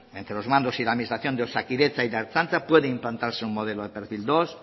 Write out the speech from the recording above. entre los mandos y la administración de osakidetza y la ertzaintza puede implantarse un modelo de perfil dos